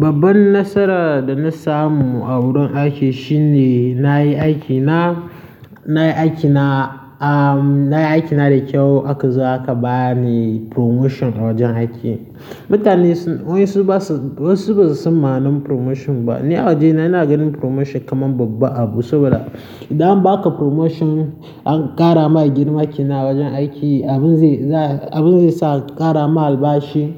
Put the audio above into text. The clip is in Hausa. Babban nasara da na samu a wurin aiki shine na yi aikina, na yi aikina, aahm, na yi aikina da kyau aka zo a ka ba ni promotion a wajen aiki. Mutane wayansu su basu, wasu basa san ma'anar promotion ba. Ni a wajena ina ganin promotion kaman babba abu saboda idan an baka promotion an ƙara ma girma kenan a wajen aiki, abin zai za, abin zai sa a ƙara ma albashi,